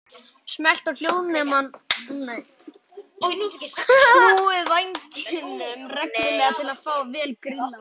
Snúið vængjunum reglulega til að fá þá vel grillaða.